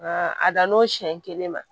Nka a dan n'o siɲɛ kelen ma